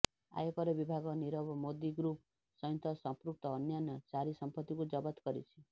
ଆୟକର ବିଭାଗ ନୀରବ ମୋଦି ଗ୍ରୃପ ସହିତ ସଂପୃକ୍ତ ଅନ୍ୟାନ୍ୟ ଚାରି ସମ୍ପତ୍ତିକୁ ଜବତ କରିଛି